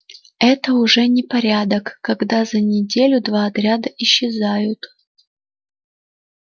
это уже непорядок когда за неделю два отряда исчезают